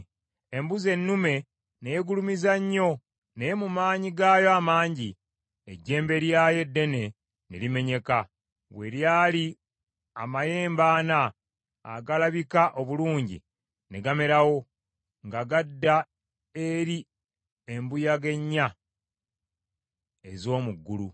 Embuzi ennume ne yeegulumiza nnyo, naye mu maanyi gaayo amangi, ejjembe lyayo eddene ne limenyeka, we lyali amayembe ana agalabika obulungi ne gamerawo nga gadda eri embuyaga ennya ez’omu ggulu.